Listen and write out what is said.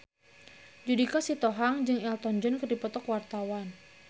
Judika Sitohang jeung Elton John keur dipoto ku wartawan